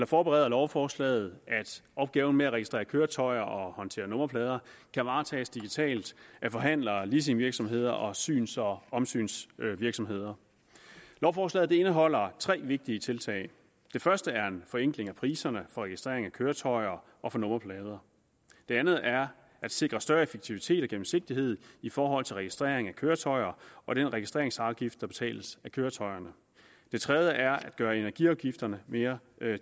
forbereder lovforslaget at opgaven med at registrere køretøjer og håndtere nummerplader kan varetages digitalt af forhandlere leasingvirksomheder og syns og omsynsvirksomheder lovforslaget indeholder tre vigtige tiltag det første er en forenkling af priserne for registrering af køretøjer og for nummerplader det andet er at sikre større effektivitet og gennemsigtighed i forhold til registrering af køretøjer og den registreringsafgift der betales af køretøjerne det tredje er at gøre energiafgifterne mere